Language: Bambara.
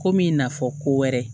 Komi i n'a fɔ ko wɛrɛ